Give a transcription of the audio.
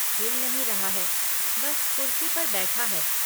हिल नहीं रहा है, बस कुर्सी पर बैठा है।